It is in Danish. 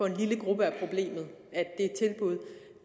en lille gruppe er problemet